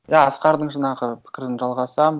иә асқардың жаңағы пікірін жалғасам